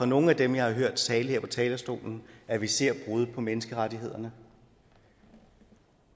nogen af dem jeg har hørt tale her fra talerstolen at vi ser brud på menneskerettighederne